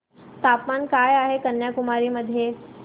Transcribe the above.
तापमान काय आहे कन्याकुमारी मध्ये